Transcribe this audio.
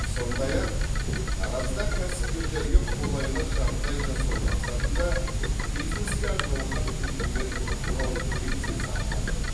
сондай ақ таразда кәсіпкерлерге қолайлы жағдай жасау мақсатында бизнеске арналған үкімет фронт кеңсесі ашылды